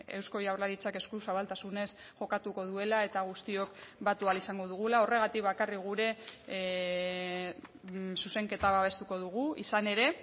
eusko jaurlaritzak eskuzabaltasunez jokatuko duela eta guztiok batu ahal izango dugula horregatik bakarrik gure zuzenketa babestuko dugu izan ere